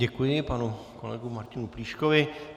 Děkuji panu kolegu Martinu Plíškovi.